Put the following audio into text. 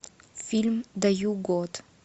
фильм даю год